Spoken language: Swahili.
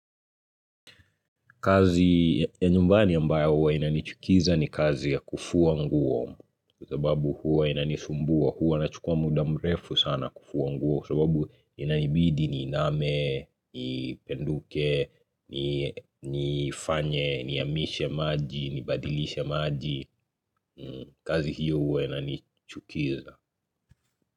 Kazi ya nyumbani ambayo huwa inanichukiza ni kazi ya kufua nguo Kwa sababu huwa inanisumbua huwa na chukua muda mrefu sana kufua nguo Kwa sababu inanibidi niiname, nipenduke, nifanye, niamishe maji, ni badilishe maji kazi hiyo huwa inanichukiza.